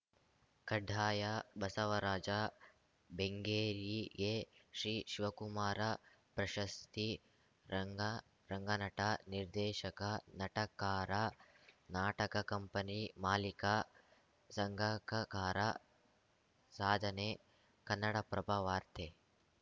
ಕಡ್ಡಾಯ ಎಡಿಟೆಡ್‌ ಬಸವರಾಜ ಬೆಂಗೇರಿಗೆ ಶ್ರೀ ಶಿವಕುಮಾರ ಪ್ರಶಸ್ತಿ ರಂಗ ರಂಗನಟ ನಿರ್ದೇಶಕ ನಾಟಕಾರ ನಾಟಕ ಕಂಪನಿ ಮಾಲೀಕ ಸಂಘಕಕಾರ ಸಾಧನೆ ಕನ್ನಡಪ್ರಭ ವಾರ್ತೆ